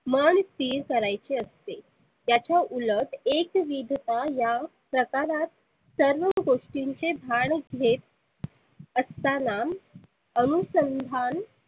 मन स्थीर करायचे असते. त्याच्या उलत एक विधता या प्रकारात सर्व गोष्टींचे धाड घेत असताना. अनुसंधान